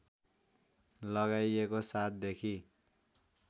लगाइएको ७ देखि